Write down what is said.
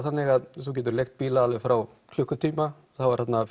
þannig að þú getur leigt bíla alveg frá klukkutíma það var þarna